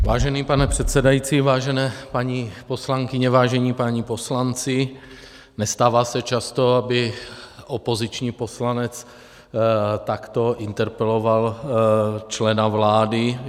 Vážený pane předsedající, vážené paní poslankyně, vážení páni poslanci, nestává se často, aby opoziční poslanec takto interpeloval člena vlády.